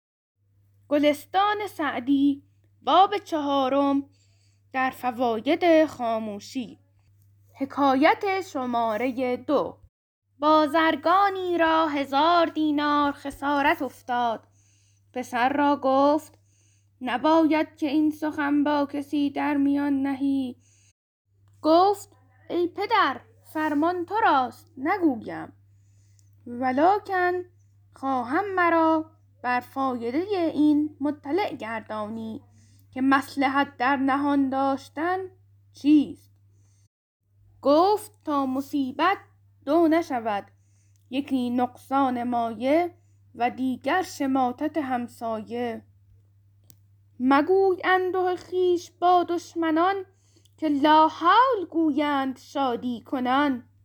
بازرگانی را هزار دینار خسارت افتاد پسر را گفت نباید که این سخن با کسی در میان نهی گفت ای پدر فرمان تو راست نگویم ولکن خواهم مرا بر فایده این مطلع گردانی که مصلحت در نهان داشتن چیست گفت تا مصیبت دو نشود یکی نقصان مایه و دیگر شماتت همسایه مگوی انده خویش با دشمنان که لاحول گویند شادی کنان